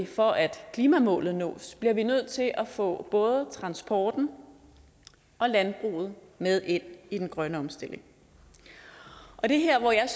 for at klimamålet nås bliver vi samtidig nødt til at få både transporten og landbruget med ind i den grønne omstilling og det er her hvor jeg